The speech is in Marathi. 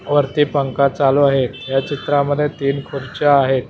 वरती पंखा चालू आहे या चित्रामध्ये तीन खुर्च्या आहेत.